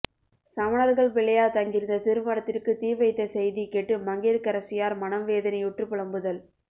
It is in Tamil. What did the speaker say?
சமணர்கள் பிள்ளையார் தங்கியிருந்த திருமடத்திற்கு தீ வைத்த செய்தி கேட்டு மங்கையர்க்கரசியார் மனம் வேதனையுற்று புலம்புதல்